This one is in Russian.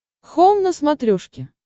хоум на смотрешке